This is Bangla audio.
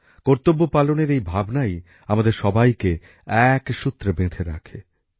কর্তব্য পালনের এই ভাবনাই আমাদের সবাইকে এক সূত্রে বেঁধে রাখে